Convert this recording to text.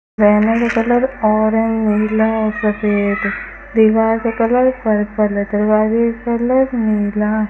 banner का colour orange नीला और सफेद दीवार का कलर पर्पल है दरवाजे का कलर नीला --